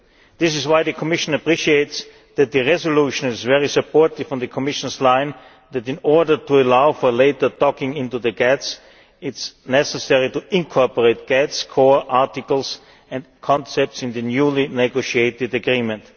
The Commission therefore appreciates the fact that the resolution is very supportive of the Commission line that, in order to allow for later docking' into the GATS, it is necessary to incorporate GATS core articles and concepts in the newly negotiated agreement.